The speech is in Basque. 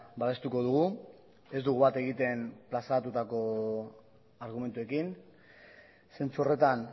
babestuko dugu ez dugu bat egiten plazatutako argumentuekin zentzu horretan